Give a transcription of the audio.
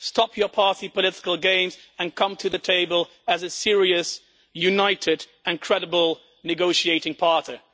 Stop your party political games and come to the table as a serious, united and credible negotiating partner.